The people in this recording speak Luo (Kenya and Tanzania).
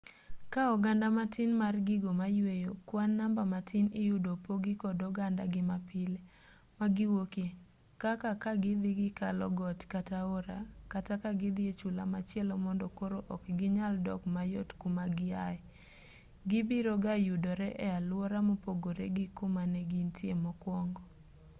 kaa oganda matin mar gigo mayueyo kwan namba matin iyudo opogi kod ogandagi mapile magiwuokie kaka kagidhi gikalo got kata aora kata kagidhi e chula machielo mondo koro ok ginyal dok mayot kumagihaye gibiroga yudore e aluora mopogore gi kumanegintie mokwongo